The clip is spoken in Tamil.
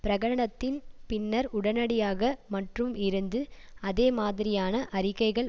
பிரகடனத்தின் பின்னர் உடனடியாக மற்றும் இருந்து அதேமாதிரியான அறிக்கைகள்